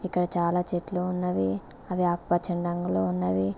ఇంకా చాలా చెట్లు ఉన్నవి అవి ఆకుపచ్చని రంగులో ఉన్నవి.